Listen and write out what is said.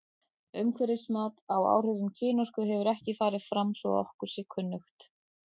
Umhverfismat á áhrifum kynorku hefur ekki farið fram svo að okkur sé kunnugt.